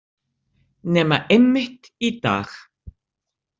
Nema einmitt í dag.